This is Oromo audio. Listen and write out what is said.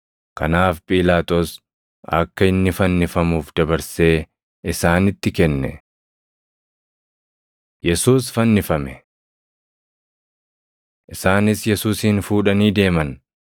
Kanaaf Phiilaaxoos akka inni fannifamuuf dabarsee isaanitti kenne. Yesuus Fannifame 19:17‑24 kwf – Mat 27:33‑44; Mar 15:22‑32; Luq 23:33‑43 Isaanis Yesuusin fuudhanii deeman.